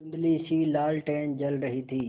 धुँधलीसी लालटेन जल रही थी